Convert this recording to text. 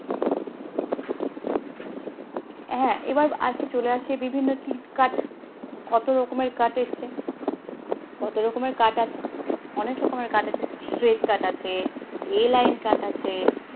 হ্যাঁ এবার আসি চলে আসে বিভিন্ন কিত cut কতো রকমের cut এসছে, কতো রকমের cut আছে, অনেক রকমের cut আছে, straight cut আছে, a line cut আছে